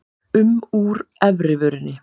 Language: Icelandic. um úr efri vörinni.